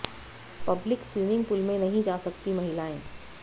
Pavleen swimming pool में नहीं जा सकती महिलाएं